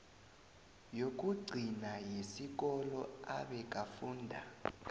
yokugcina yesikolo abekafunda